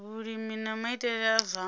vhulimi na maitele a zwa